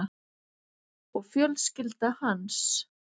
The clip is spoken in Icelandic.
Og fjölskylda hans.